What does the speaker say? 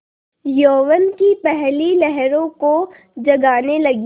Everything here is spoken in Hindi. यौवन की पहली लहरों को जगाने लगी